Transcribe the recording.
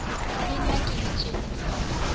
le nna ke le tjena